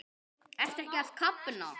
Ertu ekki að kafna?